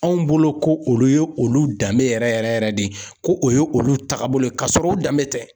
Anw bolo ko olu ye olu danbe yɛrɛ yɛrɛ yɛrɛ de ye ko o ye olu takabolo ye ka sɔrɔ u danbe tɛ.